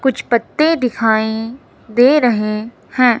कुछ पत्ते दिखाइं दे रहे हैं।